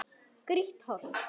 Grýtt holt.